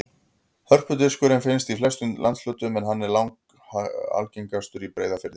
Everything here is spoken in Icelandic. Hörpudiskur finnst í flestum landshlutum en hann er langalgengastur í Breiðafirði.